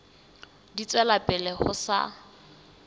di tswela pele ho sa